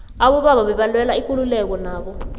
abobaba bebalwela ikululeko nabo